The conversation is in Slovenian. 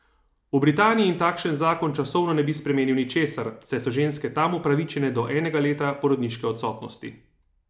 V Britaniji takšen zakon časovno ne bi spremenil ničesar, saj so ženske tam upravičene do enega leta porodniške odsotnosti.